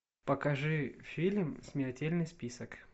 покажи фильм смертельный список